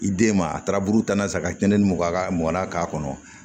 I den ma a taara buru tanna sa ka cɛnni mɔkɔ a ka mɔn na k'a kɔnɔ